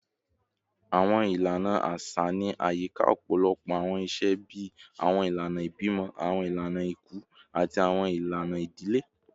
Awọn ilana aṣa ni ayika ọpọlọpọ awọn iṣe bii awọn ilana ibimọ, awọn ilana iku, ati awọn ilana idile